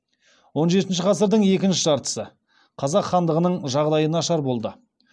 он жетінші ғасырдың екінші жартысы қазақ хандығының жағдайы нашар болды